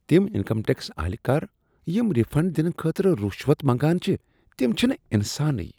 تم income tax اہلکار یم ریفنٛڈ دنہٕ خٲطرٕ رشوت منٛگان چھ، تم چھنہٕ انسانٕے۔